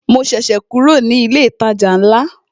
Mo ṣẹ̀ṣẹ̀ kúrò ní ilé ìtajà ńlá